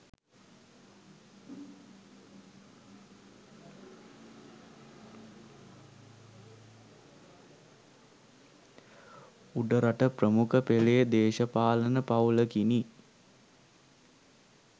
උඩරට ප්‍රමුඛ පෙලේ දේශපාලන පවුලකිනි